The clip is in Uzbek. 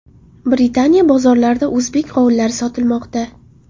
Britaniya bozorlarida o‘zbek qovunlari sotilmoqda.